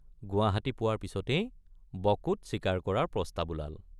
গুৱাহাটী পোৱাৰ পিচতেই বকোত চিকাৰ কৰাৰ প্ৰস্তাৱ ওলাল।